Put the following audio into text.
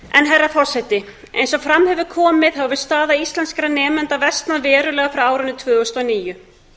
herra forseti eins og fram hefur komið hefur staða íslenskra nemenda versnað verulega frá árinu tvö þúsund og níu